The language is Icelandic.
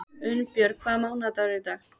Unnbjörg, hvaða mánaðardagur er í dag?